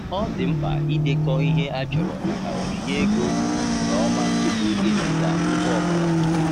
Ọ dị mkpa idekọ ihe a chọrọ maka onyinye ego nke ọma tupu iziga ngwa ọ bụla.